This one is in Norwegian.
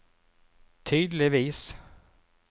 tydeligvis